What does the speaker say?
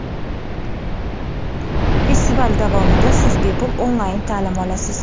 Festival davomida siz bepul onlayn ta’lim olasiz.